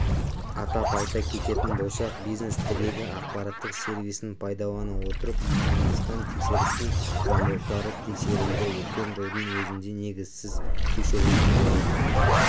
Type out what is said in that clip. атап айта кететін болсақ бизнес тірегі ақпараттық сервисін пайдалана отырып мыңнан астам тексерістің заңдылықтары тексерілді өткен жылдың өзінде негізсіз тексерудің жолы